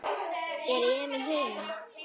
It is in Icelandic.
Er Emil heima?